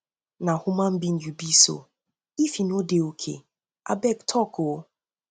na human being you be so if you no dey okay abeg talk o